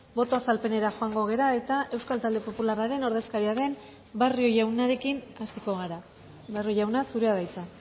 boto azalpenera joango gara eta euskal talde popularraren ordezkaria den barrio jaunarekin hasiko gara barrio jauna zurea da hitza